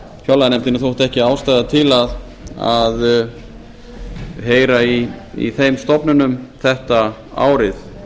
fjárlaganefndinni þótti ekki ástæða til að heyra í þeim stofnunum þetta árið